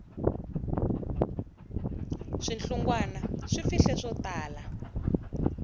swihlungwana swi fihle swo tala